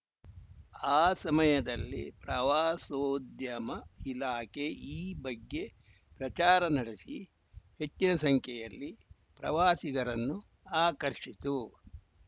ಅ ಸಮಯದಲ್ಲಿ ಪ್ರವಾಸೋದ್ಯಮ ಇಲಾಖೆ ಈ ಬಗ್ಗೆ ಪ್ರಚಾರನಡೆಸಿ ಹೆಚ್ಚಿನ ಸಂಖ್ಯೆಯಲ್ಲಿ ಪ್ರವಾಸಿಗರನ್ನು ಆಕರ್ಷಿತ್ತು